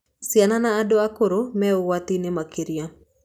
Ciana na andũ akũrũ me ũgwati-inĩ makĩria.